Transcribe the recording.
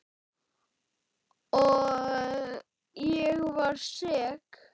Og ég var sek.